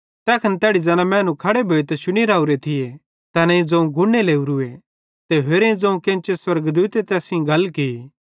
तैखन तैड़ी ज़ैना मैनू खड़े भोइतां शुनी रावरे थिये तैनेईं ज़ोवं गुड़ने लोरूए ते होरेईं ज़ोवं केन्चे स्वर्गदूते तैस सेइं गल की